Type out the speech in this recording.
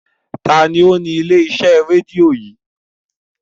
Ta ni ó ni ilé-iṣẹ́ rédíò yìí?